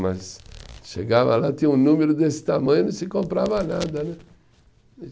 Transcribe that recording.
Mas chegava lá, tinha um número desse tamanho e não se comprava nada, né?